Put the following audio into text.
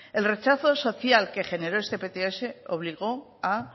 el rechazo social que generó esta pts obligó a